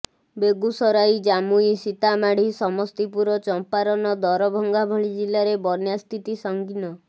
ବେଗୁସରାଇ ଜାମୁଇ ସୀତାମାଢି ସମସ୍ତିପୁର ଚମ୍ପାରନ ଦରଭଂଗା ଭଳି ଜିଲ୍ଲାରେ ବନ୍ୟା ସ୍ଥିତି ସଂଗୀନ